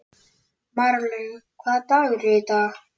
Marlaug, hvaða dagur er í dag?